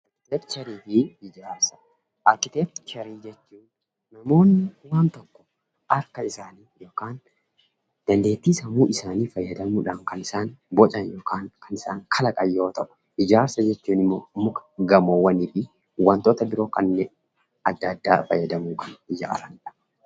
Arkiteekcherii fi ijaarsa. Arkiteekcherii jechuun namoonni akka isaanitti yookaan dandeetti sammuu isaani faayadamuudhaan kan isaan boocaan yookaan kan isaan kalaqaan yoo ta'u, ijaarsa jechuun immoo mukaa, gammowwanfi waantota biroo kannen adda addaa fayyadamuun kan ijaarannidha.